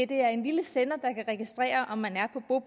det er en lille sender der kan registrere om man